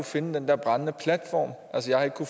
finde den der brændende platform altså jeg har